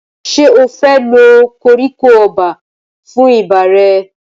Ṣé o fẹ́ lo koríko ọba fún ibà rẹ?